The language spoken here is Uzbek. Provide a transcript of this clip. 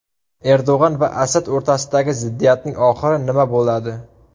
Erdo‘g‘on va Asad o‘rtasidagi ziddiyatning oxiri nima bo‘ladi?